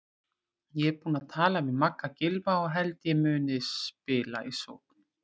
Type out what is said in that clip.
Ég er búinn að tala við Magga Gylfa og held ég muni spila í sókn.